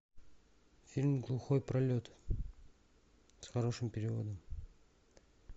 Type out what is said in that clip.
фильм глухой пролет с хорошим переводом